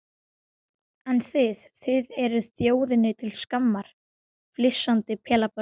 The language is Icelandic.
En þið þið eruð þjóðinni til skammar, flissandi pelabörn.